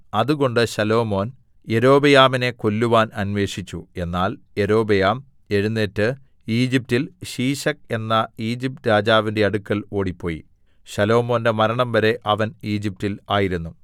അതുകൊണ്ട് ശലോമോൻ യൊരോബെയാമിനെ കൊല്ലുവാൻ അന്വേഷിച്ചു എന്നാൽ യൊരോബെയാം എഴുന്നേറ്റ് ഈജിപ്റ്റിൽ ശീശക്ക് എന്ന ഈജിപ്റ്റ് രാജാവിന്റെ അടുക്കൽ ഓടിപ്പോയി ശലോമോന്റെ മരണംവരെ അവൻ ഈജിപ്റ്റിൽ ആയിരുന്നു